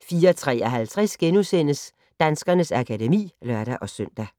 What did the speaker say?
04:53: Danskernes akademi *(lør-søn)